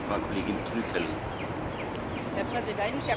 Herr Präsident, Herr Kommissar Oettinger, meine Damen und Herren!